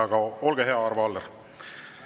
Aga olge hea, Arvo Aller!